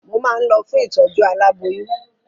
Mo máa ń lọ fún ìtọ̀jú alábóyún.